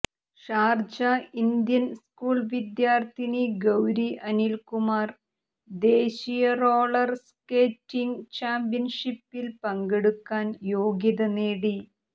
Sharjah Indian school വിദ്യാർത്ഥിനി ഗൌരി അനിൽകുമാർ ദേശീയ roller skating ചാമ്പ്യൻഷിപ്പിൽ പങ്കെടുക്കാൻ യോഗ്യത നേടി